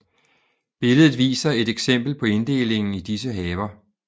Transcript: Billedet viser et eksempel på inddelingen i disse haver